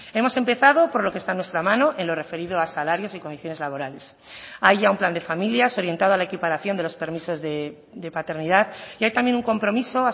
hemos empezado por lo que está en nuestra mano en lo referido a salarios y condiciones laborales hay ya un plan de familias orientado a la equiparación de los permisos de paternidad y hay también un compromiso